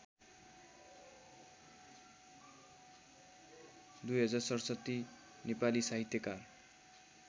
२०६७ नेपाली साहित्यकार